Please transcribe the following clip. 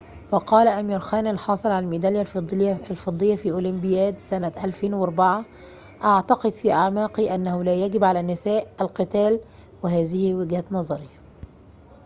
وقال أمير خان الحاصل على الميدالية الفضية في أولمبياد سنة 2004 أعتقد في أعماقي أنه لا يجب على النساء القتال وهذه وجهة نظري